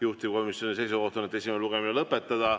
Juhtivkomisjoni seisukoht on esimene lugemine lõpetada.